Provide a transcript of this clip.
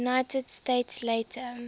united states later